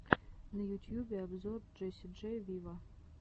на ютьюбе обзор джесси джей виво